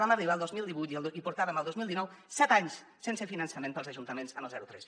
vam arribar al dos mil divuit i portàvem el dos mil dinou set anys sense finançament pels ajuntaments amb el zero tres